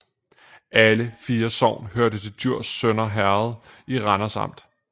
Alle 4 sogne hørte til Djurs Sønder Herred i Randers Amt